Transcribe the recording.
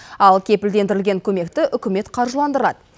ал кепілдендірілген көмекті үкімет қаржыландырады